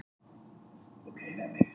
Niðurstaða á mánudag